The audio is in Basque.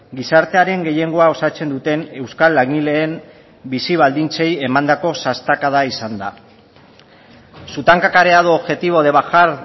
gizartearen gehiengoa osatzen duten euskal langileen bizi baldintzei emandako sastakada izan da su tan cacareado objetivo de bajar